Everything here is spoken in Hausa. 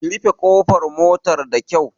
Ki rufe ƙofar motar da kyau!